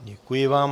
Děkuji vám.